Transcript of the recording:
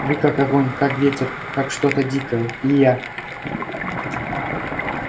вы как огонь как ветер как что-то дикое и я